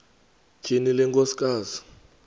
tyhini le nkosikazi